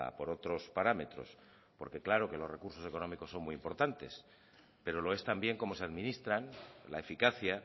por otros parámetros porque claro que los recursos económicos son muy importantes pero lo es también cómo se administran la eficacia